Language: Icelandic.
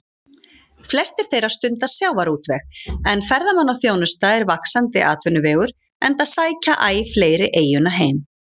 Flestir þeirra stunda sjávarútveg, en ferðamannaþjónusta er vaxandi atvinnuvegur enda sækja æ fleiri eyjuna heim.